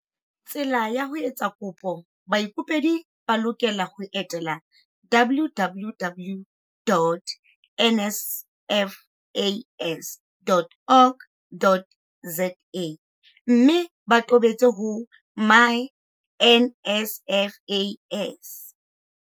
Tsela ya ho etsa kopo Baikopedi ba lokela ho etela www.nsfas.org.za mme ba tobetse ho myNSFAS.